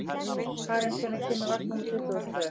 Karen, hvenær kemur vagn númer tuttugu og tvö?